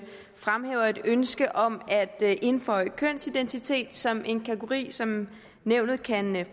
fremhæver et ønske om at indføje kønsidentitet som en kategori som nævnet kan